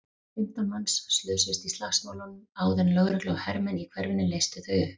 Fimmtán manns slösuðust í slagsmálunum áður en lögregla og hermenn í hverfinu leystu þau upp.